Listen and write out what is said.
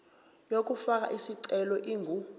yokufaka isicelo ingu